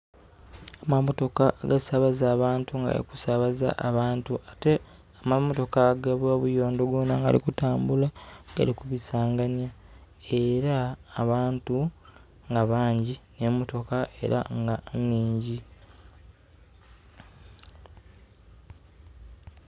Amamotoka agasabaza abantu nga gali kusabaza abantu ate mamotoka ag bebuyondo goona gali kutambula gali kubisanganya era nga abantu nga bangi ne mmotoka era nga nnhingi